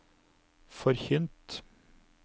forkynt